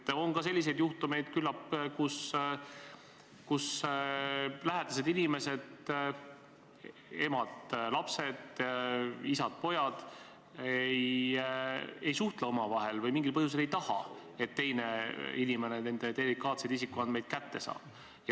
Küllap on ka selliseid juhtumeid, kus lähedased inimesed – emad, isad, lapsed – ei suhtle omavahel või mingil põhjusel ei taha, et teine inimene nende delikaatsed isikuandmed kätte saab.